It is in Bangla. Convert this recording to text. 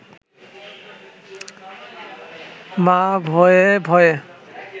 মা ভয়ে ভয়ে